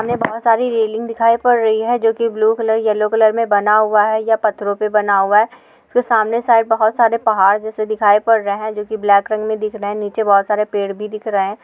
हमे बहुत सारी रेलिंग दिखाई पड रही है जो की ब्लू कलर येल्लो कलर में बना हुआ है या पथरो से पे बना हुआ है इसके सामने साइड बहुत सारे पहाड़ जैसे दिखाई पद रहे है जो की ब्लैक रंग में दिख रहे है निचे बहुत सारे पेड़ भी दिख रहे है।